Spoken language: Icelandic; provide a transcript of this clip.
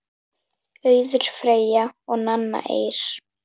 Auður Freyja og Nanna Eir.